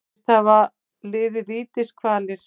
Segist hafa liðið vítiskvalir